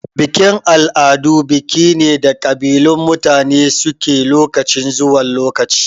Bikin-al'adu biki ne da kabilun mutane suke lokaci zuwa lokaci.